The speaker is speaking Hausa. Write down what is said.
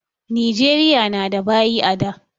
Nijeriya na da baƴi a da